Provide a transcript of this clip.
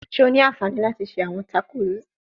Ṣe o ni anfani lati ṣe awọn tacos?